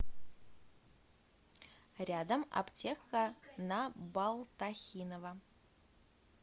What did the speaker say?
рядом аптека на балтахинова